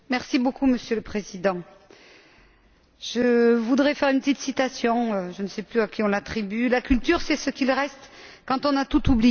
Monsieur le Président, je voudrais faire une petite citation, dont je ne sais plus à qui on l'attribue La culture, c'est ce qu'il reste quand on a tout oublié.